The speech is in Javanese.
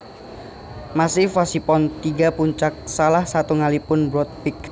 Massif wosipun tiga puncak salah satunggalipun Broad Peak